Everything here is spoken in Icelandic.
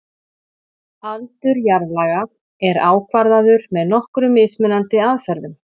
Aldur jarðlaga er ákvarðaður með nokkrum mismunandi aðferðum.